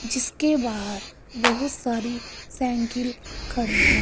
जीसके बाहर बहुत सारी साइकिल खड़ी हैं।